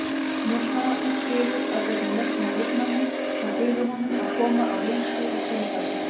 Njósnararnir hrifust af þessum leikna leikmanni og buðu honum að koma á reynslu í kjölfarið.